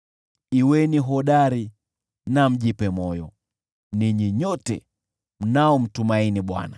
Kuweni hodari na mjipe moyo, ninyi nyote mnaomtumaini Bwana .